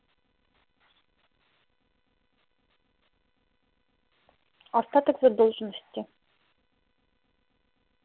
остаток задолженности